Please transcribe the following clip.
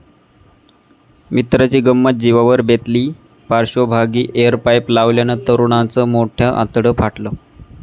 मित्राची गंमत जिवावर बेतली, पार्श्वभागी एअर पाईप लावल्यानं तरुणाचं मोठं आतडं फाटलं